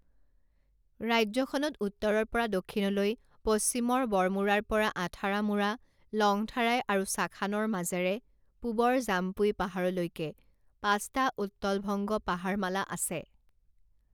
ৰাজ্যখনত উত্তৰৰ পৰা দক্ষিণলৈ, পশ্চিমৰ বড়মুৰাৰ পৰা আথাৰামুৰা, লংথাৰাই আৰু শাখানৰ মাজেৰে, পূবৰ জামপুই পাহাৰলৈকে পাঁচটা উত্তলভংগ পাহাৰমালা আছে।